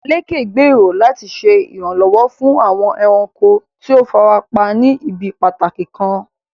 Lékè gbèrò láti ṣe ìrànlọ́wọ́ fún àwọn ẹranko tí ó fara pa ní ibi pàtàkì kan.